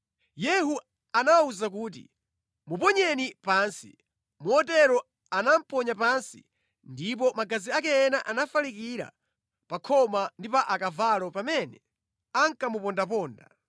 Yehu anawawuza kuti, “Muponyeni pansi!” Motero anamuponya pansi ndipo magazi ake ena anafalikira pa khoma ndi pa akavalo pamene ankamupondaponda.